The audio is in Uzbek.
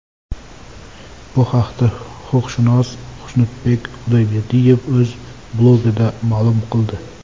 Bu haqda huquqshunos Xushnudbek Xudoyberdiyev o‘z blogida ma’lum qildi .